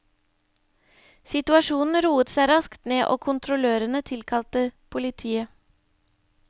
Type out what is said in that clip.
Situasjonen roet seg raskt ned, og kontrollørene tilkalte politiet.